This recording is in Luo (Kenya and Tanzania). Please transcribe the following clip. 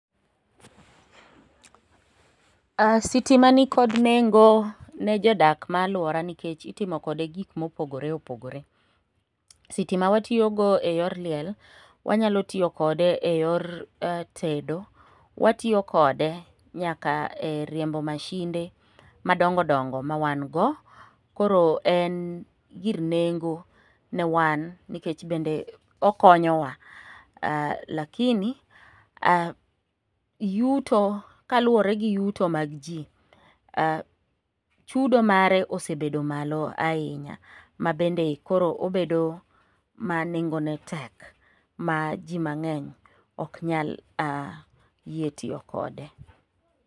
Sitima nikod nengo ne jodak ma alwora nikech itimo kode gik mopogore opogore. Sitima watiyogo eyor liel, wanyalo tiyo kode e yor tedo, watiyo kode nyaka e riembo mashinde madongo dongo ma wan go. Koro en gir nengo newan nikech bende okonyowa lakini yuto kaluwore gi yuto mag ji, chudo mare osebedo malo ahinya mabende koro obedo ma nengone tek ma ji mang'eny ok nyal yie tiyo kode.